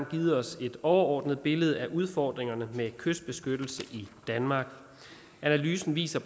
givet os et overordnet billede af udfordringerne med kystbeskyttelse i danmark analysen viser